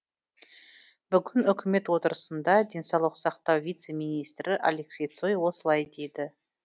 бүгін үкімет отырысында денсаулық сақтау вице министрі алексей цой осылай деді